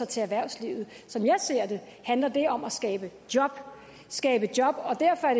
til erhvervslivet som jeg ser det handler det om at skabe job skabe job og derfor er